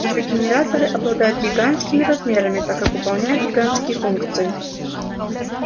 её генераторы обладают гигантскими размерами так как выполняют гигантские функции